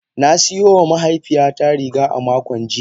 Na siyo wa mahaifiyata riga a makon jiya.